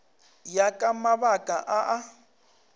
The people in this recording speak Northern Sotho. ya ka mabaka a a